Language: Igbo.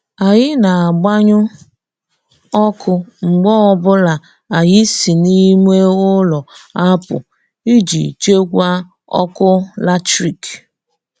Anyị na-agbanyụ ọkụ mgbe ọbụla anyị si n'ime ụlọ apụ iji chekwaa ọkụ latrik.